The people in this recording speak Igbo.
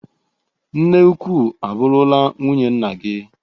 Nne ukwu abụrụla nwunye nna gi.